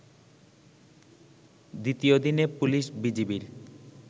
দ্বিতীয় দিনে পুলিশ-বিজিবির